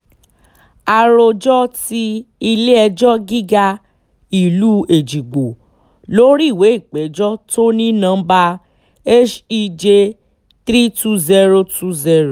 àròjọ ti ilé-ẹjọ́ gíga ìlú èjìgbò lórí ìwé ìpéjọ tó ní nọmba hej thirty two thousand twenty